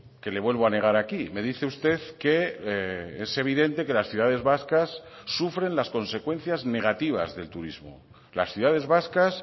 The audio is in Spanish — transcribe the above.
que le vuelvo a negar aquí me dice usted que es evidente que las ciudades vascas sufren las consecuencias negativas del turismo las ciudades vascas